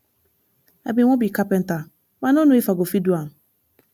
i bin wan be carpenter but i no know if i go fit do am